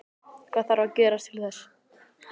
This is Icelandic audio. Hvað þarf að gerast til þess?